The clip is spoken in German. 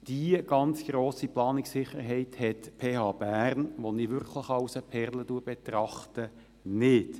Diese ganz grosse Planungssicherheit hat die PH Bern, die ich wirklich als Perle betrachte, nicht.